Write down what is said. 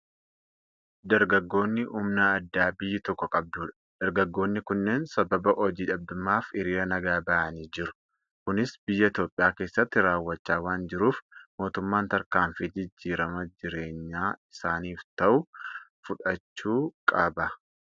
Dargaggoonni humna addaa biyyi tokko qabdudha. Dargaggoonni kunneen sababa hojii dhabdummaf hiriira nagaa bahanii jiru. Kunis biyya Itoophiyaa keessatti raawwachaa waan jiruuf, mootummaan tarkaanfii jijjiirama jireenya isaaniif ta'u fudhachuu qaba.